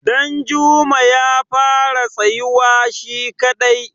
danjuma ya fara tsayuwa shi kadai